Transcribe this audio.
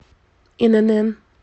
инн